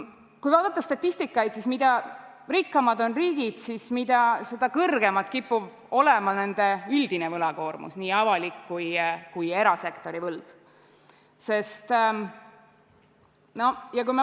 Kui vaadata statistikat, siis mida rikkamad on riigid, seda kõrgem kipub olema nende üldine võlakoormus, nii avalik kui ka erasektori võlg.